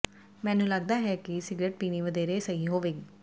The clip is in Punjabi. ਮੈਨੂੰ ਲੱਗਦਾ ਹੈ ਕਿ ਸਿਗਰਟ ਪੀਣੀ ਵਧੇਰੇ ਸਹੀ ਹੋਵੇਗੀ